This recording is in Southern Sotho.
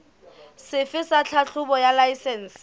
sefe sa tlhahlobo ya laesense